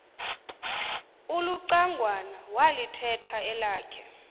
ulucangwana walithetha elakhe